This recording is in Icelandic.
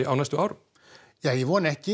á næstu árum ja ég vona ekki